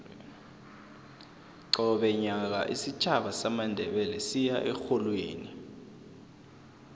qobe nyaka isitjhaba samandebele siya erholweni